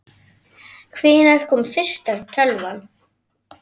Hvenær kom fyrsta tölvan?